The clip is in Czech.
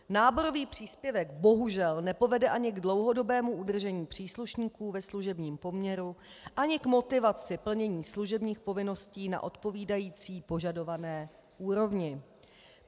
Náborový příspěvek bohužel nepovede ani k dlouhodobému udržení příslušníků ve služebním poměru, ani k motivaci plnění služebních povinností na odpovídající požadované úrovni.